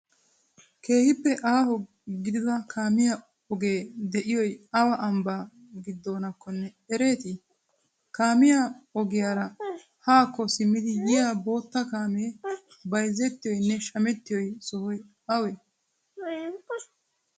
keehippe aho giddidaa kaammiya oge de'iyoy awa ambbaa giddonakkonne ereeti? kaammiya ogiyaraa hakko simmidi yiyyiya botta kaamme bayzettiyonne shammettiyo sohoy awanee?